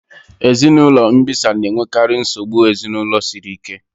Ezinụlọ mbisa na-enwekarị nsogbu ezinụlọ siri ike